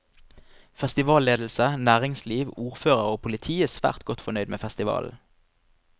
Festivalledelse, næringsliv, ordfører og politi er svært godt fornøyd med festivalen.